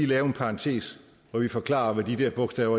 lave en parentes hvor vi forklarer hvad de bogstaver